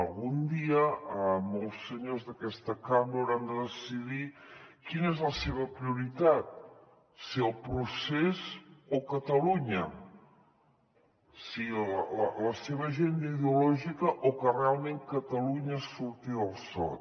algun dia molts senyors d’aquesta cambra hauran de decidir quina és la seva prioritat si el procés o catalunya si la seva agenda ideològica o que realment catalunya surti del sot